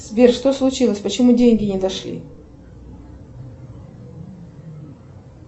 сбер что случилось почему деньги не дошли